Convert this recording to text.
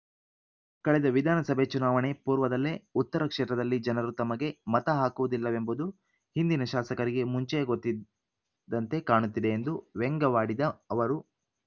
ಕಳೆದ ವಿಧಾನಸಭೆ ಚುನಾವಣೆ ಪೂರ್ವದಲ್ಲೇ ಉತ್ತರ ಕ್ಷೇತ್ರದಲ್ಲಿ ಜನರು ತಮಗೆ ಮತ ಹಾಕುವುದಿಲ್ಲವೆಂಬುದು ಹಿಂದಿನ ಶಾಸಕರಿಗೆ ಮುಂಚೆಯೇ ಗೊತ್ತಿದ್ದಂತೆ ಕಾಣುತ್ತಿದೆ ಎಂದು ವ್ಯಂಗ್ಯವಾಡಿದ ಅವರು